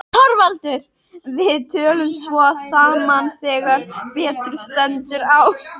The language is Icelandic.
ÞORVALDUR: Við tölum svo saman þegar betur stendur á.